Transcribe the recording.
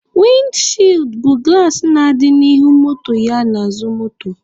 Windi chịịd bụ gụlas na-adị n'ihu moto ya n'azụ moto.